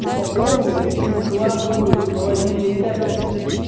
упаковывают и складывают в холодильной камеры